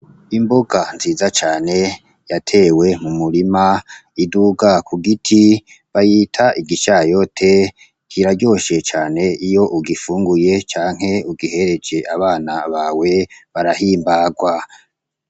Imboga nziza cane yatewe mu murima iduga ku giti. Bayita igishayote, kiraryoshe cane iyo ugifunguye canke iyo ugihereje abana bawe, barahimbarwa.